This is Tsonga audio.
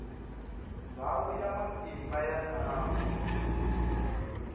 ndhawu ya matimba ya nawu